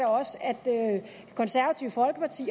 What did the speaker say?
også at konservative folkeparti